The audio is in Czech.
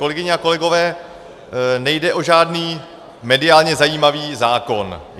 Kolegyně a kolegové, nejde o žádný mediálně zajímavý zákon.